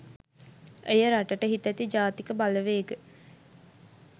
එය රටට හිතැති ජාතික බලවේග